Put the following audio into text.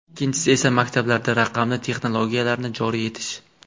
Ikkinchisi esa maktablarda raqamli texnologiyalarni joriy etish.